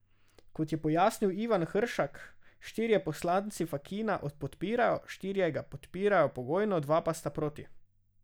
Kot je pojasnil Ivan Hršak, štirje poslanci Fakina podpirajo, štirje ga podpirajo pogojno, dva pa sta proti.